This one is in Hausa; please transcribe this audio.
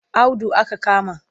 Audu aka kama